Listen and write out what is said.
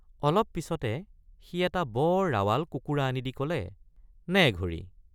অলপ পিচতে সি এটা বৰ ৰাৱাল কুকুৰা আনি দি কলে নে ঘড়ী।